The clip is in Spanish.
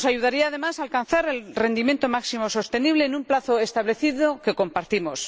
Nos ayudaría, además, a alcanzar el rendimiento máximo sostenible en un plazo establecido que compartimos.